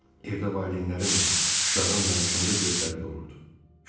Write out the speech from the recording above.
Evdə valideynlərin də Şuşadan danışanda gözləri dolurdu.